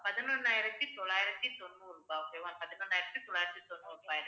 பதினொன்னாயிரத்தி தொள்ளாயிரத்தி தொண்ணூறு ரூபாய் okay வா பதினொன்னாயிரத்தி தொள்ளாயிரத்தி தொண்ணூறு ரூபாய்